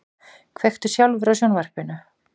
Kveiktu sjálfur á sjónvarpinu.